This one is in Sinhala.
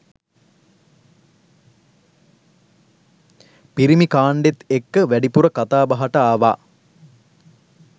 පිරිමි කාණ්ඩෙත් එක්ක වැඩිපුර කතා බහට ආවා.